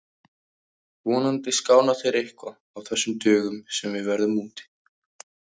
Vonandi skána þeir eitthvað á þessum dögum sem við verðum úti.